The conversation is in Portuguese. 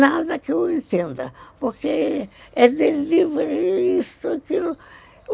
Nada que eu entenda, porque é delivery isto, aquilo.